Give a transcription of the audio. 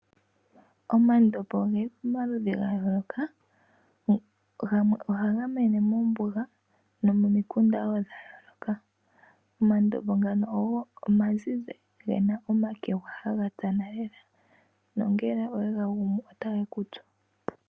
Omandobo ogeli pama ludhi ga yooloka, gamwe ohaga mene mo mbuga nomo mikunda woo dha yooloka. Omandobo ngano ogo oma zizi ge na omakegwa haga tsana lela, nongele owega gumu ota ge kutsu.